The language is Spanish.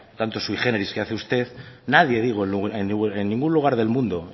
tanto sui géneris que hace usted nadie digo en ningún lugar del mundo